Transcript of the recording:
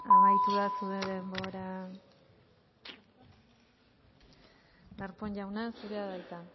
amaitu da zure denbora darpón jauna zurea da hitza